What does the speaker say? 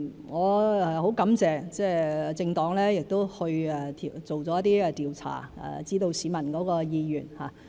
我很感謝政黨做了一些調查，讓大家知道市民的意願。